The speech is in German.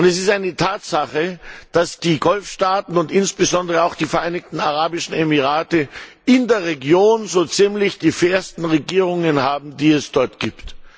Es ist eine Tatsache, dass die Golfstaaten, und insbesondere auch die Vereinigten Arabischen Emirate, so ziemlich die fairsten Regierungen haben, die es in der Region gibt.